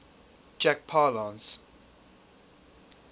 jack palance